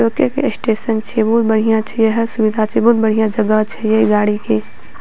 रोके के स्टेशन छिये बहुत बढ़िया छै हर सुविधा छै बहुत बढ़िया जगह छै इ गाड़ी के।